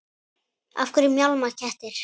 Af hverju mjálma kettir?